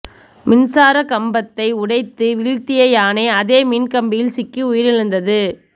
மின்சாரக் கம்பத்தை உடைத்து வீழ்த்திய யானை அதே மின் கம்பியில் சிக்கி உயிரிழந்தது